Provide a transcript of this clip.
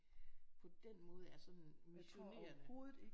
På den måde er sådan missionerende